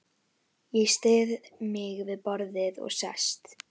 Ég styð mig við borðið og sest.